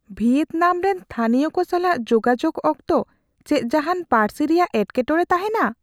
ᱵᱷᱤᱭᱮᱛᱱᱟᱢ ᱨᱮᱱ ᱛᱷᱟᱹᱱᱤᱭᱚ ᱠᱚ ᱥᱟᱞᱟᱜ ᱡᱳᱜᱟᱡᱳᱜ ᱚᱠᱛᱚ ᱪᱮᱫ ᱡᱟᱦᱟᱱ ᱯᱟᱹᱨᱥᱤ ᱨᱮᱭᱟᱜ ᱮᱴᱠᱮᱴᱚᱲᱮ ᱛᱟᱦᱮᱱᱟ ?